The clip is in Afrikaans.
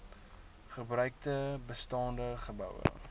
gebruikte bestaande geboue